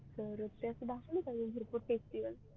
करते असं दाखवायला आम्ही